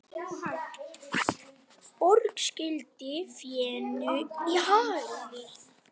Borg skýldi fénu í hagli.